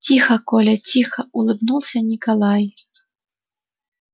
тихо коля тихо улыбнулся николай